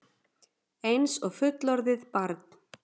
Einsog fullorðið barn.